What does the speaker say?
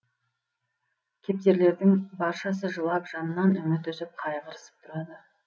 кептерлердің баршасы жылап жаннан үміт үзіп қайғырысып тұрады